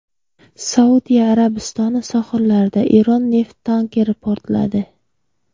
Saudiya Arabistoni sohillarida Eron neft tankeri portladi.